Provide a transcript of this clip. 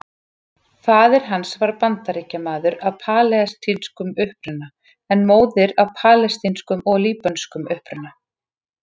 Faðir hans var Bandaríkjamaður af palestínskum uppruna en móðirin af palestínskum og líbönskum uppruna.